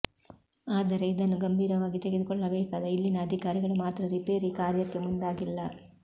ಆದರೆ ಇದನ್ನು ಗಂಭೀರವಾಗಿ ತೆಗೆದುಕೊಳ್ಳಬೇಕಾದ ಇಲ್ಲಿನ ಅಧಿಕಾರಿಗಳು ಮಾತ್ರ ರಿಪೇರಿ ಕಾರ್ಯಕ್ಕೆ ಮುಂದಾಗಿಲ್ಲ